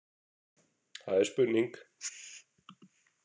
Það er spurning.